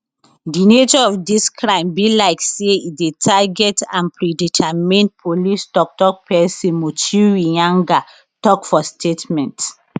di nature of dis crime be like say e dey targeted and predetermined police toktok pesin muchiri nyaga tok for statement